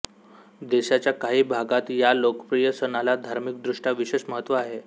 देशाच्या काही भागात या लोकप्रिय सणाला धार्मिकदृष्ट्या विशेष महत्त्व आहे